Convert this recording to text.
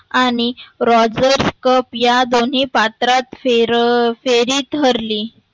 आणि Rogers Cup या दोन्ही पात्रात फेर फेरीत हरली.